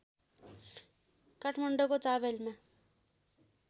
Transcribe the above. काठमाण्डौको चावहिलमा